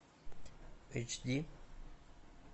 эйч ди